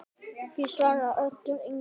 Því svaraði Oddur engu.